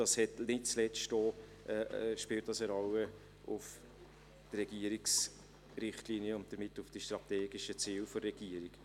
Dies spielt nicht zuletzt auch eine Rolle für die Regierungsrichtlinien und damit für die strategischen Ziele der Regierung.